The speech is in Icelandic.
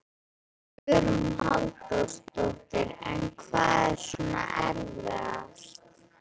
Hugrún Halldórsdóttir: En hvað er svona erfiðast?